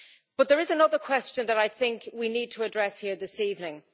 But there is another question that I think we need to address here this evening.